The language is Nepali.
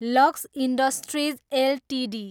lux Industries Ltd